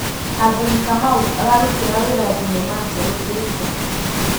Catherine kamau ararũtĩra wĩra thĩnema njerũ ĩrĩkũ